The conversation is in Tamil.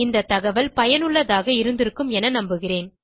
இந்த தகவல் பயனுள்ளதாக இருந்திருக்கும் என நம்புகிறேன்